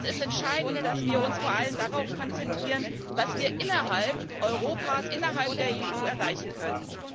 Es ist entscheidend, dass wir uns vor allem darauf konzentrieren, was wir innerhalb Europas, innerhalb der EU erreichen können.